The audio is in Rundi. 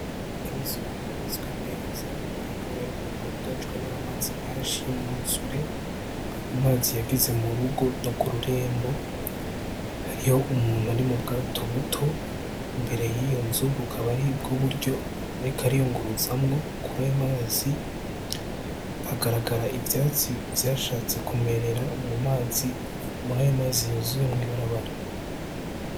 Inzu yubatswe neza yugajwe n'amazi menshi yumwuzure, amazi yageze mu rugo noku rembo hariho umuntu ari mu bwato buto imbere y'iyo nzu buka aribwo buryo ariko ariyunguruzamwo kurayo mazi hagaragara ivyatsi vyashatse kumerera mu mazi, murayo mazi yuzuye mw'ibarabara.